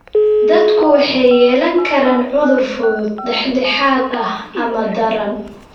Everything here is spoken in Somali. Dadku waxay yeelan karaan cudur fudud, dhexdhexaad ah, ama daran.